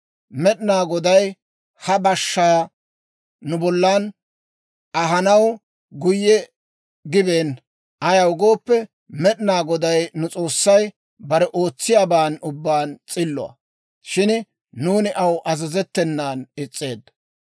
Med'inaa Goday ha bashshaa nu bollan ahanaw guyye gibeenna; ayaw gooppe, Med'inaa Goday nu S'oossay bare ootsiyaaban ubbaan s'illuwaa; shin nuuni aw azazettenan is's'eeddo.